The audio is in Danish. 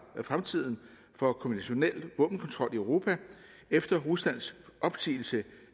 fremtiden for konventionel våbenkontrol i europa efter ruslands opsigelse